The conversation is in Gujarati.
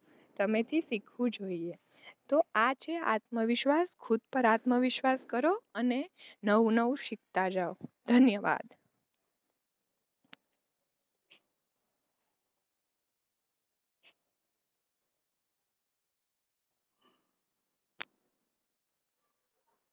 તમે થી શીખવું જોઇયે તો આ છે આત્મવિશ્વાસ, ખુદ પર આત્મવિશ્વાસ કરો અને નવું નવું શિખતા જાવ, ધન્યવાદ.